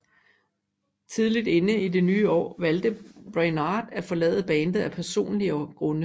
Tidligt inde i det nye år valgte Brainard at forlade bandet af personlige grunde